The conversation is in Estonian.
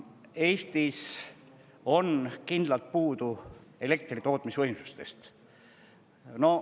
Eestis on kindlalt puudu elektritootmisvõimsustest.